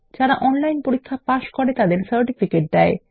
যারা অনলাইন পরীক্ষা পাস করে তাদের সার্টিফিকেট দেয়